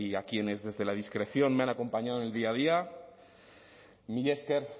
a quienes desde la discreción me han acompañado en el día a día mila esker